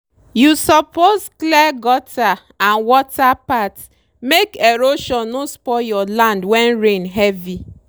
you suppose clear gutter and water path make erosion no spoil your land when rain heavy.